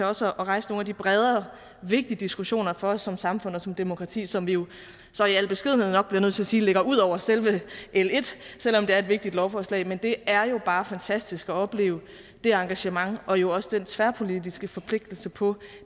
også at rejse nogle af de bredere vigtige diskussioner for os som samfund og som demokrati som vi jo så i al beskedenhed nok bliver nødt til at sige ligger ud over selve l en selv om det er et vigtigt lovforslag men det er jo bare fantastisk at opleve det engagement og jo også den tværpolitiske forpligtelse på